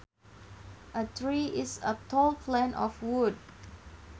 A tree is a tall plant of wood